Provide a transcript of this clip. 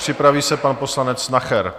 Připraví se pan poslanec Nacher.